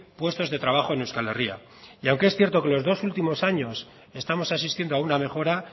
puestos de trabajo en euskal herria y aunque es cierto que los dos últimos años estamos asistiendo a una mejora